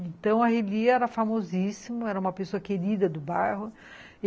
Então, a Relia era famosíssima, era uma pessoa querida do bairro.